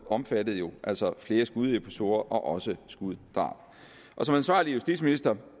omfattede jo altså flere skudepisoder og også skuddrab som ansvarlig justitsminister